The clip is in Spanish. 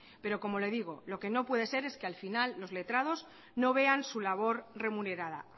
pero como le digo lo que no puede ser es que la final los letrados no vean su labor remunerada